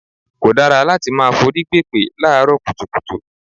Kò dára láti máa forí gbèpè láàárọ̀ kùtùkùtù.